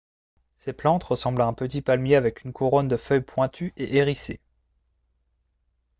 ces plantes ressemblent à un petit palmier avec une couronne de feuilles pointues et hérissées